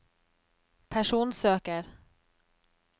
personsøker